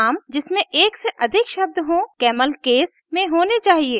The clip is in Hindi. नाम जिसमें एक से अधिक शब्द हों कैमल केस camel case में होने चाहिए